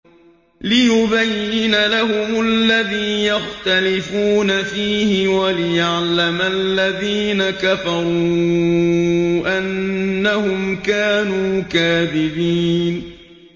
لِيُبَيِّنَ لَهُمُ الَّذِي يَخْتَلِفُونَ فِيهِ وَلِيَعْلَمَ الَّذِينَ كَفَرُوا أَنَّهُمْ كَانُوا كَاذِبِينَ